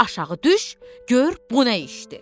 Aşağı düş, gör bu nə işdir.